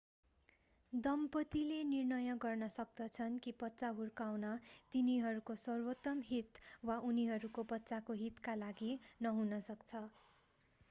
दम्पतिले निर्णय गर्न सक्दछन् कि बच्चा हुर्काउन तिनीहरूको सर्वोत्तम हित वा उनीहरूको बच्चाको हितका लागि नहुन सक्छ